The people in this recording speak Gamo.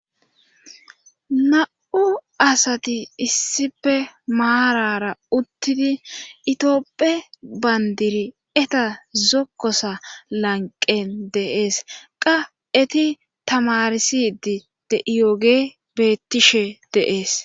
Na'u asati issife maarara uttidi itioopphe bandiri eta zokkosa lanqen deees qa eti tamarsidi de iyoge bettishe deees.